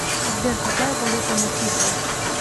сбер какая валюта на фиджи